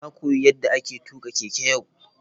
Na koyi yadda ake tuka keke yau.